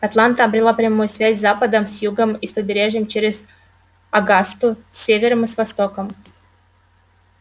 атланта обрела прямую связь с западом с югом и с побережьем а через огасту с севером и востоком